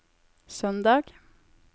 søndag